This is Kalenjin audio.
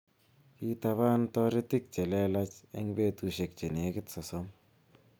Kitaban toritik che lelach en betusiek chenekit sosom